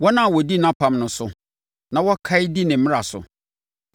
wɔn a wɔdi nʼapam no so na wɔkae di ne mmara so.